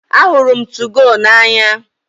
Ahụrụ m 2go n'anya